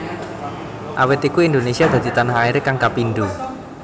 Awit iku Indonesia dadi tanah airé kang kapindo